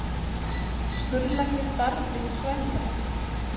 Skurðlæknir barði svæfingalækni